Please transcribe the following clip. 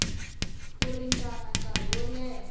ku ringana nkarhi wo leha